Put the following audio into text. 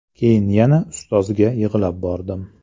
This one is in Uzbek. Keyin yana ustozga yig‘lab bordim.